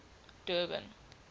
durban